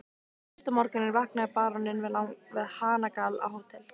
Fyrsta morguninn vaknaði baróninn við hanagal á Hótel